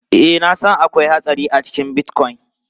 Ee, na san akwai hatsari a cikin Bitcoin.